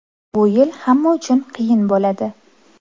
Bu yil hamma uchun qiyin bo‘ladi.